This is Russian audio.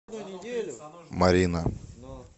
марина